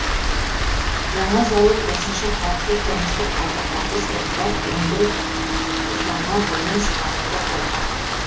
жаңа зауыт осынша қатты тұрмыстық қалдықтарды сұрыптап өңдеп жаңа бұйым шығаруды қолға алды